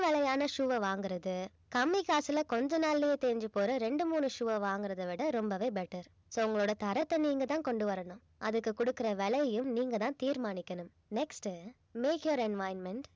விலையான shoe அ வாங்குறது கம்மி காசுல கொஞ்ச நாள்லயே தேஞ்சி போற ரெண்டு மூணு shoe அ வாங்குறதை விட ரொம்பவே better so உங்களோட தரத்தை நீங்க தான் கொண்டு வரணும் அதுக்கு குடுக்கிற விலையையும் நீங்க தான் தீர்மானிக்கணும் next make your environment